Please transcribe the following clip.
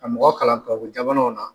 Ka mɔgɔ kalan tubabujamanaw na.